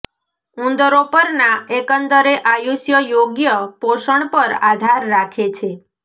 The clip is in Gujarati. ઉંદરો પરના એકંદરે આયુષ્ય યોગ્ય પોષણ પર આધાર રાખે છે